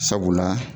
Sabula